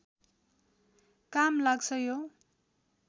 काम लाग्छ यो